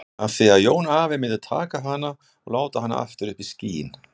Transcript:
Af því að afi Jón myndi taka hana og láta hana aftur upp í skýin.